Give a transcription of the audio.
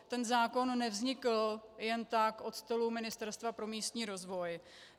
Ten zákon nevznikl jen tak od stolu Ministerstva pro místní rozvoj.